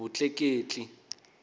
vutleketli